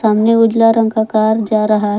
सामने उजला रंग का कार जा रहा --।